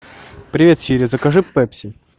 привет сири закажи пепси